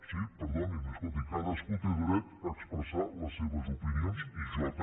sí perdonin cadascú té dret a expressar les seves opinions i jo també